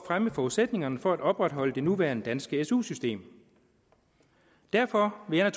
fremme forudsætningerne for at opretholde det nuværende danske su system derfor vil jeg